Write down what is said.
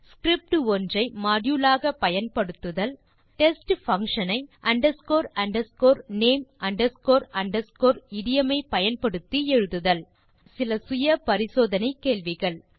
script ஒன்றை module ஆக பயன்படுத்துதல் 3டெஸ்ட் பங்ஷன்ஸ் ஐ underscore underscore name underscore underscore idiom ஐ பயன்படுத்தி எழுதுதல் தீர்வு காண சில சுய பரிசோதனைக் கேள்விகள் 1